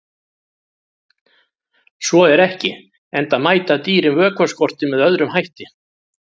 Svo er ekki, enda mæta dýrin vökvaskorti með öðrum hætti.